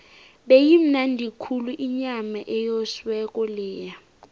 beyimnandi khulu inyama eyosiweko leya